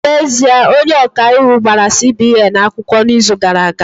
N'ezie, onye ọka iwu gbara CBN akwụkwọ n'izu gara aga